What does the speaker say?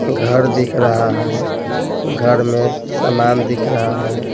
घर दिख रहा है घर में सामान दिख रहा है।